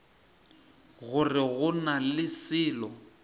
gore go na le selo